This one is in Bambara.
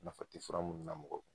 Nafa tɛ fura munnu na mɔgɔ